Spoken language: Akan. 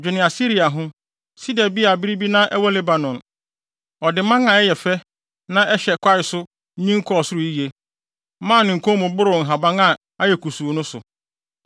Dwene Asiria ho, sida bi a bere bi na ɛwɔ Lebanon, Ɔde mman a ɛyɛ fɛ, na ɛhyɛ kwae so nyin kɔɔ soro yiye, ma ne nkɔn mu boro nhaban a ayɛ kusuu no so.